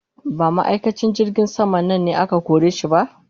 Ba ma'aikacin jirgin sama nan ne aka kore shi ba?